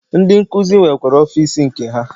Ndi nkuzi nwekwara ọfịs nke ha.